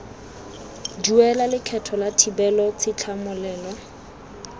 duela lekgetho la thibelo tshitlhamololelo